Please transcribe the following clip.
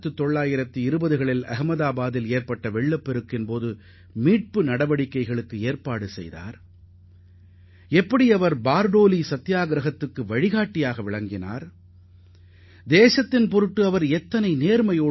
1920 ஆம் ஆண்டு வாக்கில் அகமதாபாதில் வெள்ளம் ஏற்பட்ட போது நிவாரண நடவடிக்கைகளை அவர் கையாண்ட விதத்தையும் பர்தோலி சத்தியாகிரகத்தை அவர் நடத்திச் சென்ற விதமும் அந்த கட்டுரையில் இடம்பெற்றது